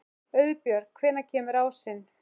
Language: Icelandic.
Auðbjörg, hvenær kemur ásinn?